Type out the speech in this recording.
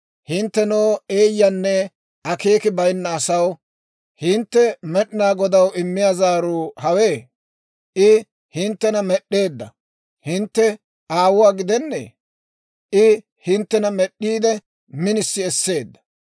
Hinttenoo eeyyanne akeeki bayinna asaw, hintte Med'inaa Godaw immiyaa zaaruu hawe? I hinttena med'd'eedda hintte Aawuwaa gidennee? I hinttena med'd'iide, minisi esseedda.